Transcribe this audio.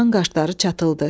Şahın qaşları çatıldı.